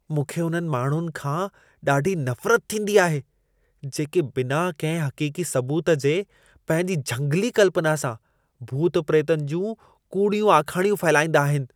मूंखे उन्हनि माण्हुनि खां ॾाढी नफ़रत थींदी आहे, जेके बिना कंहिं हक़ीक़ी सबूत जे पंहिंजी झंगली कल्पना सां भूत-प्रेतनि जूं कूड़ियूं आखाणियूं फहिलाईंदा आहिनि।